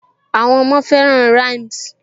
Àwọn ọmọ fẹràn rhymes